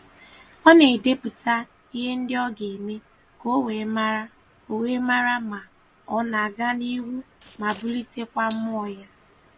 Ọ na-edepụta ihe ndị o ga-eme ka o wee mara o wee mara ma ọ na-aga n'ihu ma bulitekwa mmụọ ya.